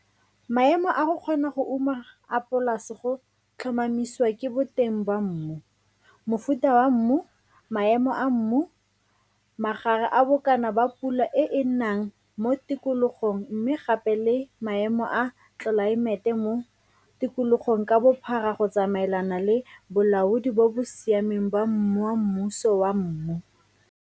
Maemo a go kgona go uma a polase go tlhomamiswa ke boteng ba mmu, mofuta wa mmu, maemo a mmu, magare a bokana ba pula e e nang mo tikologong mme gape le maemo a tlelaemete mo tikologong ka bophara go tsamaelana le bolaodi bo bo siameng ba moamuso wa mmu.